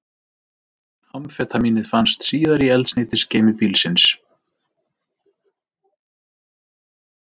Amfetamínið fannst síðar í eldsneytisgeymi bílsins